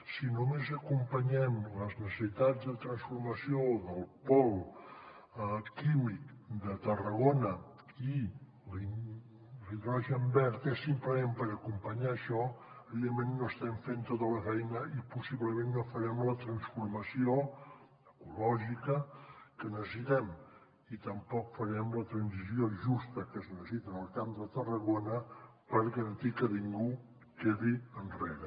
si només acompanyem les necessitats de transformació del pol químic de tarragona i l’hidrogen verd és simplement per acompanyar això evidentment no estem fent tota la feina i possiblement no farem la transformació ecològica que necessitem i tampoc farem la transició justa que es necessita en el camp de tarragona per garantir que ningú quedi enrere